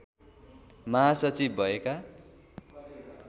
महासचिव भएका